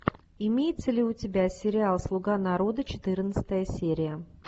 имеется ли у тебя сериал слуга народа четырнадцатая серия